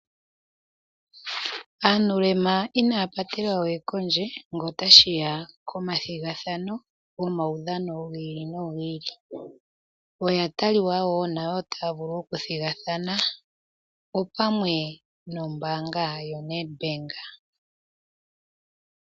Aanuulema inaya patelwa we kondje ngele otashi ya komathigathano gomaudhano gi ili nogi ili. Oya taliwa wo nayo taya vulu okuthigathana opamwe nombaanga yaNedbank.